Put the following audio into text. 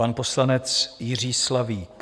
Pan poslanec Jiří Slavík.